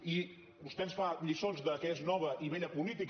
i vostè ens fa lliçons de què és nova i vella política